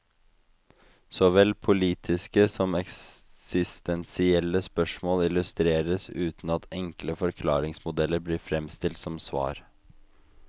Såvel politiske som eksistensielle spørsmål illustreres, uten at enkle forklaringsmodeller blir fremstilt som svar.